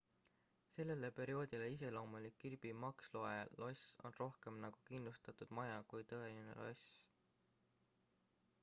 sellele perioodile iseloomulik kirby muxloe loss on rohkem nagu kindlustatud maja kui tõeline loss